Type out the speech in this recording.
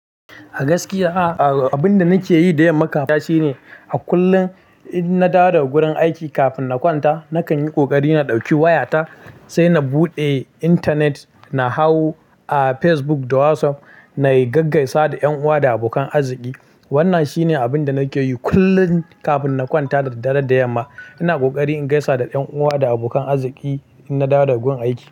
A gaskiya a, abin da nake yi da yamma kafin na kwanta shine, a kullum in na dawo daga wurin aiki kafin na kwanta nakan yi ƙoƙari na ɗauki wayata sai na buɗe intanet. Na hau a Facebook da WhatsApp na yi gaggaisa da ƴan uwa da abokan arziki. Wannan shi ne abin da nake yi kullum kafin na kwanta da daddare da yamma. Ina ƙoƙari in gaisa da ƴan uwa da abokan arziki in na dawo daga wurin aiki.